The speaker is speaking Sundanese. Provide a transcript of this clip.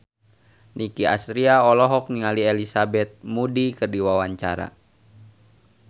Nicky Astria olohok ningali Elizabeth Moody keur diwawancara